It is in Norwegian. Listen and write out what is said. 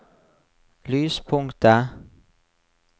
lyspunktet